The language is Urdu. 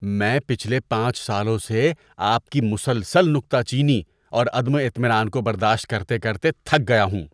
میں پچھلے پانچ سالوں سے آپ کی مسلسل نکتہ چینی اور عدم اطمینان کو برداشت کرتے کرتے تھک گیا ہوں۔